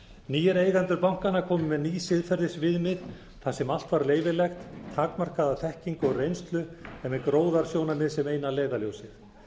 nýir eigendur bankanna komu með ný siðferðisviðmið þar sem allt var leyfilegt takmarkaða þekkingu og reynslu en með gróðasjónarmiðið sem eina leiðarljósið